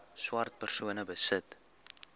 swart persone besit